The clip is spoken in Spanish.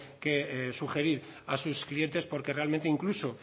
que sugerir a sus clientes porque realmente incluso